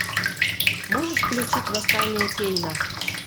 можешь включить восстание кейна